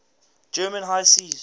german high seas